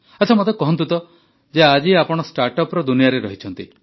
ଆଚ୍ଛା ମତେ କହନ୍ତୁ ଯେ ଆଜି ଆପଣ ଷ୍ଟାର୍ଟଅପ୍ର ଦୁନିଆରେ ଅଛନ୍ତି